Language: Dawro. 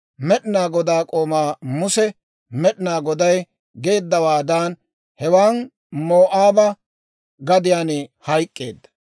Med'inaa Godaa k'oomaa Muse Med'inaa Goday geeddawaadan, hewan Moo'aaba gadiyaan hayk'k'eedda.